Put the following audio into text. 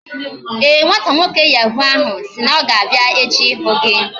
Ee, nwata nwoke yahu ahụ sị na ya ga-abịa echi ịhụ gị